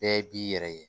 Bɛɛ b'i yɛrɛ ye